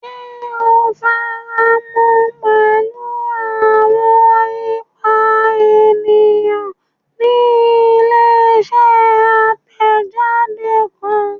Ṣe o faramọ pẹlu awọn ipa eniyan ni ile-iṣẹ atẹjade kan?